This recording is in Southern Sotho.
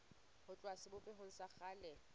ho tloha sebopehong sa kgale